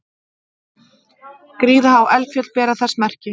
Gríðarhá eldfjöll bera þess merki.